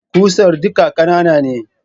Ƙusar duka ƙanana ne